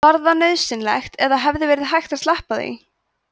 var það nauðsynlegt eða hefði verið hægt að sleppa því